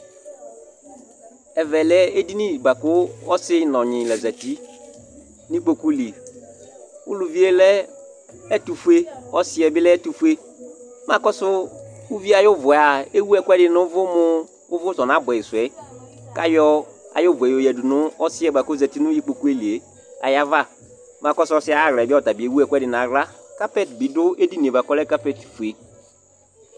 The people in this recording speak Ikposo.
Ɛvɛ lɛ edini bua ku ɔsi nu ɔnyi la za uti nu ikpoku li Ulivi yɛ lɛ ɛtufue ɔsi yɛ bi lɛ ɛtufue Mɛ akɔsu uvi yɛ ayu vu yɛa ewu ɛku ɛdi nu uvu mu uvu su ɔnabuɛ yi suɛ ku ayɔ ayu vu yɛ yadu nu ɔsi yɛ bua ku ɔza uti nu ikpoku li yɛ ayu ava Makɔsu ɔsi yɛ ayu aɣla yɛ ɔta bi ewu ɛku ɛdi nu aɣla Kapɛt di du edini yɛ bua ku ɔlɛ kapet fue